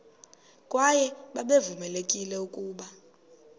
kwaye babevamelekile ukuba